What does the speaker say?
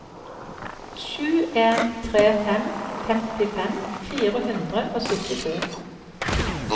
sju en tre fem femtifem fire hundre og syttito